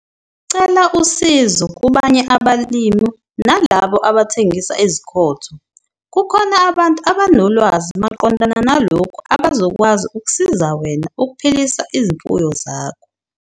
Cela usizo kubanye abalimi nalabo abathengisa izikhotho - kukhona abantu abanolwazi maqondana nalokhu abazokwazi ukusiza wena ukuphilisa izimfuyo zakho.